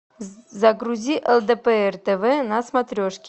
загрузи лдпр тв на смотрешке